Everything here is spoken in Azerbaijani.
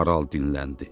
maral dinləndi.